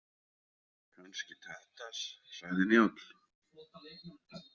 Kannski Tadas, sagði Njáll.